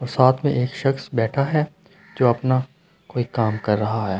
साथ में एक शख्स बैठा है जो अपना कोई काम कर रहा है।